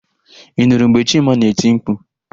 Ị nụrụ mgbe Chima na-eti mkpu?